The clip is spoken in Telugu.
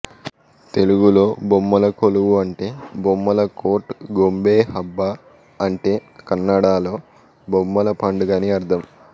తెలుగులో బొమ్మల కొలువు అంటే బొమ్మల కోర్ట్ గొంబే హబ్బ అంటే కన్నడలో బొమ్మల పండుగ అని అర్థం